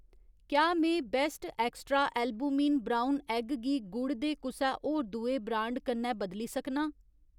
क्या में best extra albumin brown egg गी गुड़ दे कुसै होर दुए ब्रांड कन्नै बदली सकनां ?